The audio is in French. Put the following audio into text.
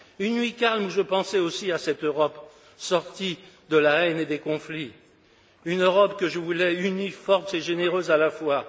Une nuit calme où je pensais aussi à cette Europe sortie de la haine et des conflits, une Europe que je voulais unie, forte et généreuse à la fois.